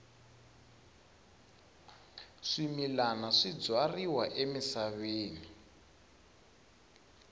swimilana swi byariwa emisaveni